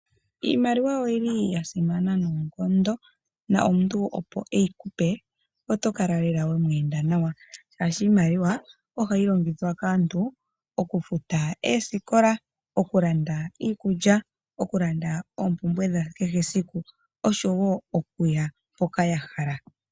Iimaliwa oyo li ya simana noonkondo, na omuntu opo eyi ku pe, oto kala lela we mu enda nawa shaashi iimaliwa oha yi longithwa kaantu oku futa eesikola, oku landa iikulya, oku landa oopumbwe dha kehe esiku osho woo oku ya mpoka ya hala.